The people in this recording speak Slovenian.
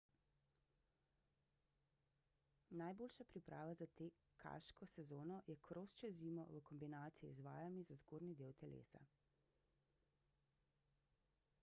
najboljša priprava za tekaško sezono je kros čez zimo v kombinaciji z vajami za zgornji del telesa